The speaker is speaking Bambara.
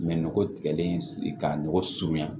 Mɛ nɔgɔ tigɛlen ka nɔgɔ surunya